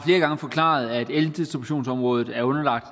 gange forklaret at eldistributionsområdet er underlagt